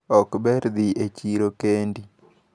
Okber dhi e chiro kendi.